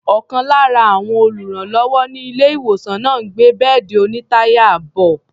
Ọ̀kan lára àwọn olùrànlọ́wọ́ ní ilé-ìwòsàn náà ń gbé bẹ́ẹ̀dì onítàyà bọ̀.